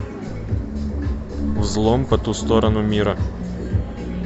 взлом по ту сторону мира